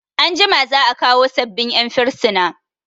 Anjima za'a kawo sabbin 'yan firsina.